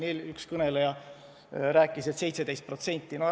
Üks kõneleja rääkis, et neid on 17%.